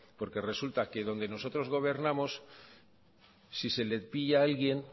porque resulta que donde nosotros gobernamos si se le pilla a alguien